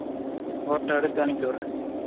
boto எடுத்து அனுப்பிவிடுரேன்